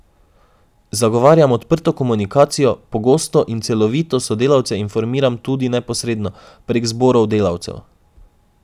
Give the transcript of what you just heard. Zagovarjam odprto komunikacijo, pogosto in celovito sodelavce informiran tudi neposredno, prek zborov delavcev.